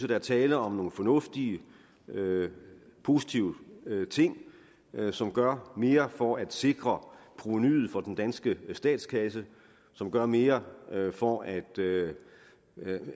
der er tale om nogle fornuftige positive ting som gør mere for at sikre provenuet for den danske statskasse som gør mere for at